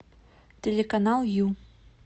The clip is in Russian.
телеканал ю